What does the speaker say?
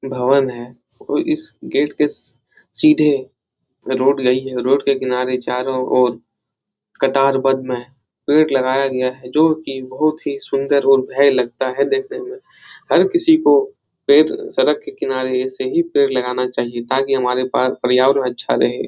भवन है और इस गेट के सी सीधे रोड गयी है रोड के किनारे चारों ओर कतार बन रहे हैं पेड़ लगाया गया है जो की बहुत ही सुन्दर और भय लगता है देखने में हर किसको पेड़ सड़क के किनारे ऐसे ही पेड़ लगाना चाहिए ताकि हमारे पास पर्यावर अच्छा रहे।